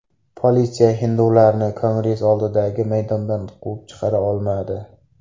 Politsiya hindularni Kongress oldidagi maydondan quvib chiqara olmadi.